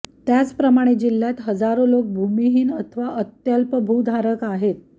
त्याचप्रमाणे जिल्ह्यात हजारो लोक भूमिहीन अथवा अत्यल्प भूधारक आहेत